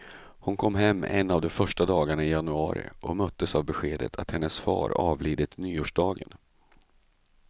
Hon kom hem en av de första dagarna i januari, och möttes av beskedet att hennes far avlidit nyårsdagen.